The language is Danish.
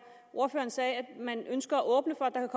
ordføreren sagde at man ønsker at åbne for at der